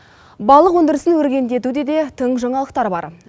балық өндірісін өркендетуде де тың жаңалықтар бар